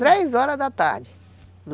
Três horas da tarde.